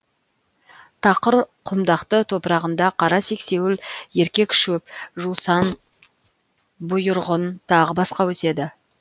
тақыр құмдақты топырағында қара сексеуіл еркек шөп жусан бұйырғын тағы басқа өседі